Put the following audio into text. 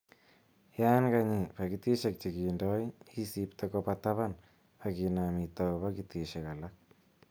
Yon ka konyi pakitisek che kindo, isibte koba taban ak kinam itau pakitisiek che lelach.